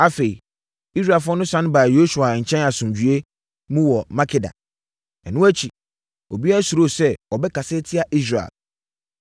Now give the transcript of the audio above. Afei, Israelfoɔ no sane baa Yosua nkyɛn asomdwoeɛ mu wɔ Makeda. Ɛno akyi, obiara suroo sɛ ɔbɛkasa atia Israel.